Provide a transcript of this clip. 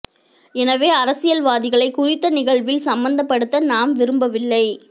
எனவே அரசியல் வாதிகளை குறித்த நிகழ்வில் சம்மந்தப்படுத்த நாம் விரும்பவில்லை